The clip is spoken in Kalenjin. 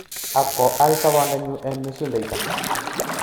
Ak koal sobondanyu en mesundoito